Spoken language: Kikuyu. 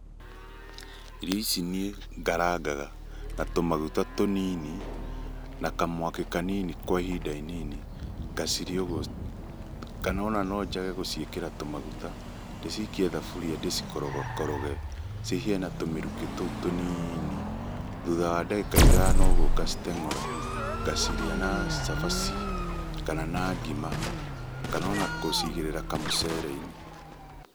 Irio ici nĩ ngarangaga na tũmaguta tũnini, na kamwaki kanini kwa ihinda inini ngacirĩa ũguo. Kana ona no njage gũciĩkĩra tũmaguta, ndĩcikie thaburia ndĩ cikorogakoroge cihĩe na tũmĩrukĩ tũu tũnini, thutha wa ndagĩka ta ithano ũguo ngaciteng'ũra ngacirĩa na cabaci, kana na ngima, kana ona gũcigĩrĩra kamũcere-inĩ.